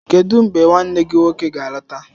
Kedu mgbe nwanne gị nwoke ga-alọta?